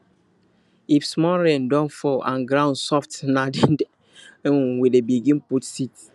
if small rain don fall and ground soft na then then we dey begin put seed